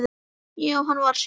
Já, hann var að syngja.